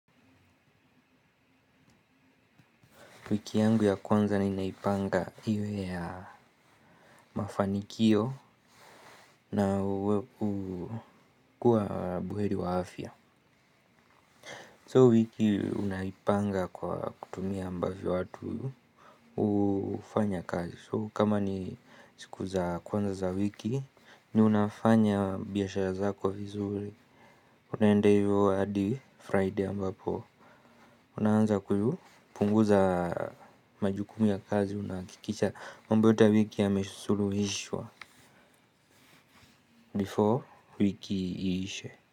Wiki yangu ya kwanza ninaipanga iwe ya mafanikio na kuwa buheri wa afya So wiki unaipanga kwa kutumia ambavyo watu hufanya kazi So kama ni siku za kwanza za wiki ni unafanya biashara zako vizuri. Unaenda hivyo hadi Friday ambapo unaanza kupunguza majukumu ya kazi unahakikisha mambo yote ya wiki yamesuluhishwa before wiki iishe.